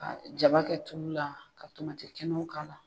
Ka jaba kɛ tulu la, ka tomati kɛnɛw k'a la.